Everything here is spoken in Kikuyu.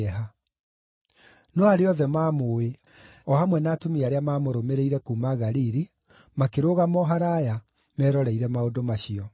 No arĩa othe maamũũĩ, o hamwe na atumia arĩa maamũrũmĩrĩire kuuma Galili, makĩrũgama o haraaya, meroreire maũndũ macio.